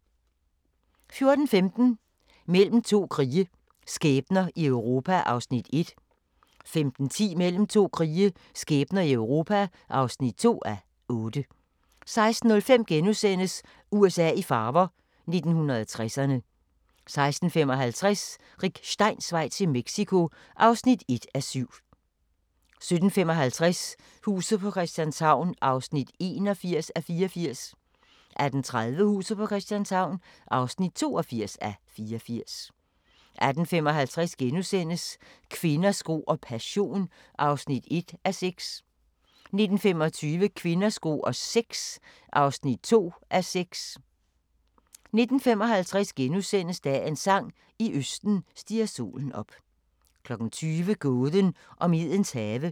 14:15: Mellem to krige – skæbner i Europa (1:8) 15:10: Mellem to krige – skæbner i Europa (2:8) 16:05: USA i farver – 1960'erne * 16:55: Rick Steins vej til Mexico (1:7) 17:55: Huset på Christianshavn (81:84) 18:30: Huset på Christianshavn (82:84) 18:55: Kvinder, sko og passion (1:6)* 19:25: Kvinder, sko og sex (2:6) 19:55: Dagens sang: I østen stiger solen op * 20:00: Gåden om Edens have